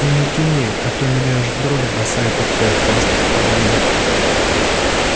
ну не тяни ты а то меня аж в дрожь бросает от твоих классных парней